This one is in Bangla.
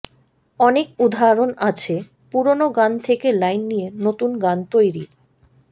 অনেক উদাহরণ আছে পুরনো গান থেকে লাইন নিয়ে নতুন গান তৈরির